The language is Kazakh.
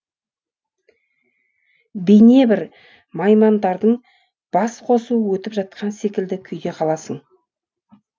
бейнебір наймандардың басқосуы өтіп жатқан секілді күйде қаласың